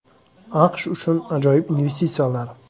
AQSh uchun ajoyib investitsiyalar.